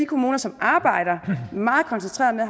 kommuner som arbejder meget koncentreret